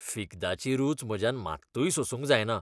फिग्दाची रूच म्हज्यान मात्तूय सोसूंक जायना.